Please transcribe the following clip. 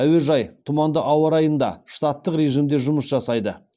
әуежай тұманды ауа райында штаттық режімде жұмыс жасайды